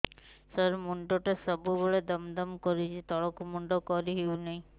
ସାର ମୁଣ୍ଡ ଟା ସବୁ ବେଳେ ଦମ ଦମ କରୁଛି ତଳକୁ ମୁଣ୍ଡ କରି ହେଉଛି ନାହିଁ